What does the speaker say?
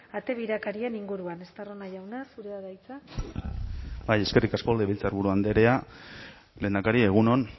ate birakarien inguruan estarrona jauna zurea da hitza bai eskerrik asko legebiltzarburu andrea lehendakari egun on